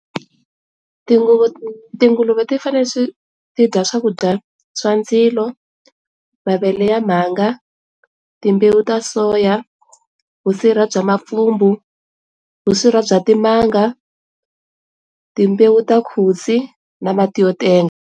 Tinguvu, tinguluve ti fane swi tidya swakudya swa ndzilo, mavele ya mhanga, timbewu ta soya, vusirha bya mapfhumbu, vusirha bya timanga, timbewu ta khutsi na mati yo tenga.